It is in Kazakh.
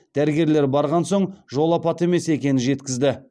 дәрігерлер барған соң жол апаты емес екенін жеткізді